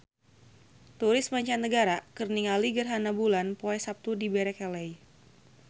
Turis mancanagara keur ningali gerhana bulan poe Saptu di Berkeley